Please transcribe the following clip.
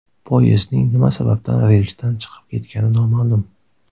Poyezdning nima sababdan relsidan chiqib ketgani noma’lum.